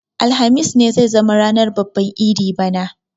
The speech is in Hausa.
Alhamis ne zai zama ranar babban idi bana.